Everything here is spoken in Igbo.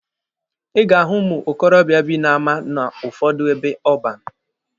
Ị ga-ahụ ụmụ okorobịa bi n'ama n'ụfọdụ ebe ọban.